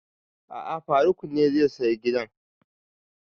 A'a faruk ne zai saya gidan